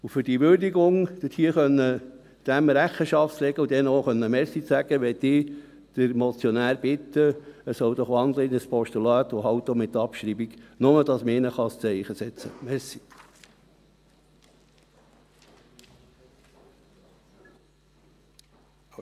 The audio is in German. Um dieser Würdigung Rechenschaft tragen zu können und ihnen auch Danke sagen zu können, möchte ich den Motionär bitten, in ein Postulat zu wandeln, auch mit Abschreibung, damit man für sie ein Zeichen setzen kann.